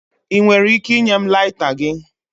Ị nwere ike ịnye m laita gị?